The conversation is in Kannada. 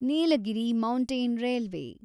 Nilgiri mountain railway